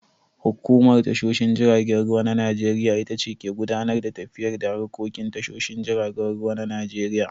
Hukumar tashoshin jiragen ruwan Najeriya itace ke gudanar da tafiyar da harkokin tashoshin jiragen ruwan Najeriya.